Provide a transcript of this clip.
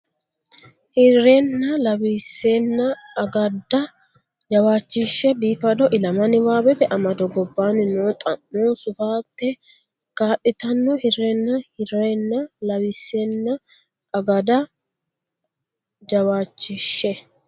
Hirrenna lawissenna agooda jawaachishshe biifado ilama niwaawete amado gobbaanni noo xa mo sufate kaa litanno Hirrenna Hirrenna lawissenna agooda jawaachishshe.